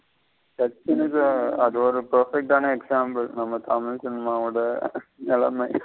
அது ஒரு perfect ஆன example நம்ம தமிழ் cinema ஓட நிலமை.